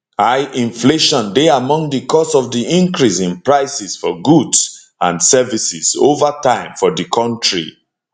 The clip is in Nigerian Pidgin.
high inflation dey among di cause of di increase in prices for goods and services over time for di kontri